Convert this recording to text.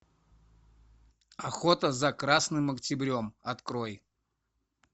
охота за красным октябрем открой